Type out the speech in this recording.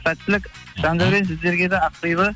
сәттілік жандәурен сіздерге де ақбибі